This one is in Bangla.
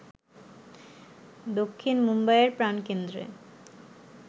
দক্ষিণ মুম্বাইয়ের প্রাণকেন্দ্রে